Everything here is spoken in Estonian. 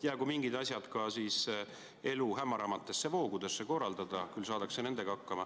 Jäägu mingid asjad ka elu hämaramate voogude korraldada, küll saadakse nendega hakkama.